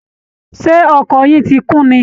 Ṣé ọkọ̀ yín ti kún ni?